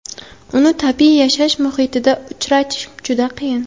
Uni tabiiy yashash muhitida uchratish juda qiyin.